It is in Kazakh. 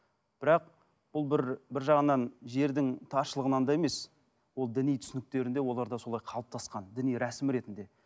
бірақ ол бір бір жағынан жердің таршылығынан да емес ол діни түсініктерінде оларда солай қалыптасқан діни рәсім ретінде